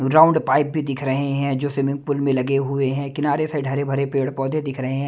Round pipe भी दिख रहे हैं जो स्विमिंग पूल में लगे हुए हैं किनारे से ढरे भरे पेड़-पौधे दिख रहे है।